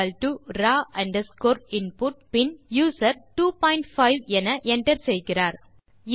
ஆ Rao underscore input பின் user 25 என enter செய்கிறார்